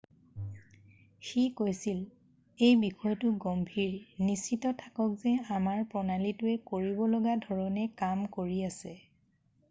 "সি কৈছিল,""এই বিষয়টো গম্ভীৰ। নিশ্চিত থাকক যে আমাৰ প্ৰণালীটোৱে কৰিব লগা ধৰণে কাম কৰি আছে।""